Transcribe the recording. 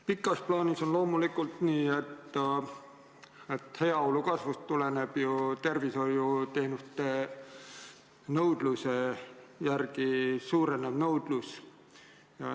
Pikas plaanis on loomulikult nii, et heaolu kasvust tuleneb tervishoiuteenuste suurenev nõudlus.